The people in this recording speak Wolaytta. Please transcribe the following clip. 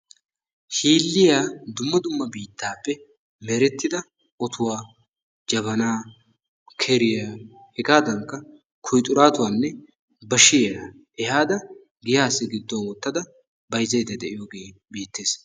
Shil'iya dumma dumma meraappe merettida otuwa, jabanaa, keriya hegaadankka kuyixaraatuwanne bashiya ehaada giyaassi gidduwan wottada bayizzayidda de'iyogee beettes.